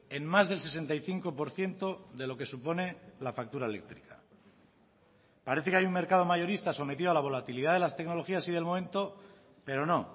en más del sesenta y cinco por ciento de lo que supone la factura eléctrica parece que hay un mercado mayorista sometido a la volatilidad de las tecnologías y del momento pero no